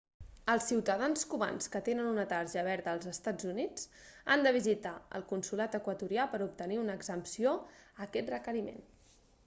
els ciutadans cubans que tenen una tarja verda dels eua han de visitar el consolat equatorià per a obtenir una exempció a aquest requeriment